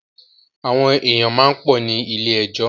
Àwọn èyàn máa pọ̀ ní ilé ẹjọ́.